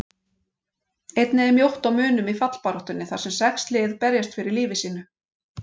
Einnig er mjótt á munum í fallbaráttunni þar sem sex lið berjast fyrir lífi sínu.